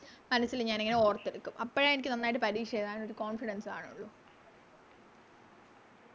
മനസ്സില് ഞാനിങ്ങനെ ഓർത്തെടുക്കും അപ്പഴാ എനിക്ക് നന്നായിട്ട് പരീക്ഷ എഴുതാൻ ഒരു Confidence കാണുള്ളൂ